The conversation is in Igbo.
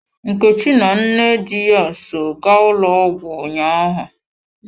Nkechi na nne di ya so gaa ụlọ ọgwụ ụnyaahụ.